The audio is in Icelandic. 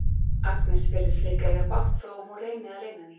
Agnes virðist líka eiga bágt þó að hún reyni að leyna því.